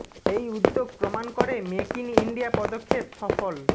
এই উদ্যোগ প্রমাণ করে মেক ইন ইন্ডিয়া পদক্ষেপ সফল